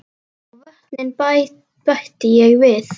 Og vötnin bætti ég við.